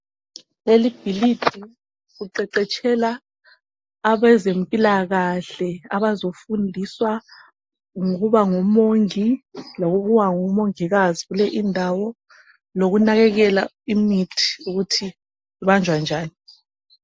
Lelibhilidi kuqeqetshela abezempilakahle, abazofundiswa ngokuba ngomongi lokuba ngomongikazi kule indawo. Lokunakekela imithi ukuthi ibanjwa njani.